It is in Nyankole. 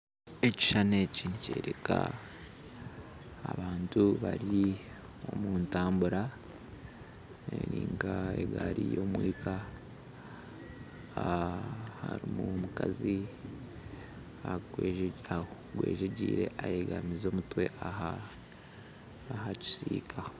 Eki ekishuushani nikyoreka abantu bari omutambura niga egaari y'omwika harimu omukazi agwejegiire ayegamize omutwe aha kisiika